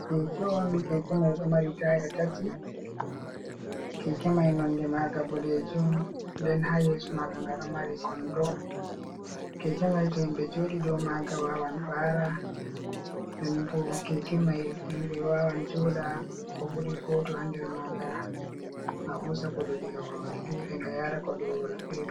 Keke on: Keke mai ɗo mari taya tati. Keke mai nonde maga boɗejum nden ha yeso maga nga ɗo mari kondo. Keke mai to himɓe joɗi dou maga wawan ɓara nden bo keke mai himɓe wawan joɗa ko buri goto ha nder maga. A husan goɗɗo diga babal fere nga yara goɗɗo babal fere.